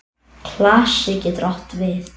Klasi getur átt við